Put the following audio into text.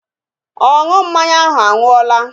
Ọṅụ mmanya ahụ anwụọla